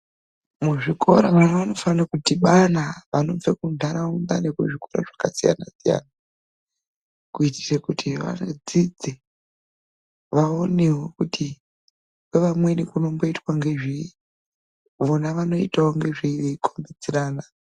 Muzvikora vana vanofanirwa kudhibana vanobva kunharaunda nevanobva kuzvikora zvakasiyana siyana, kuitira kuti vadzidze vaonewo kuti kwevamweni kutomboitwa ngezvei vona vanomboitawo ngezveyi veikombidzirana.